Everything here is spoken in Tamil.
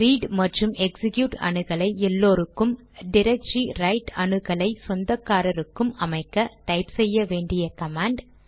ரீட் மற்றும் எக்சிக்யூட் அணுகலை எல்லோருக்கும் டிரக்டரி ரைட் அணுகலை சொந்தக்காரருக்கும் அமைக்க டைப் செய்ய வேண்டிய கமாண்ட்